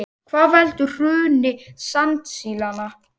Hvað veldur hruni sandsílanna